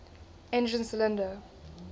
engine cylinder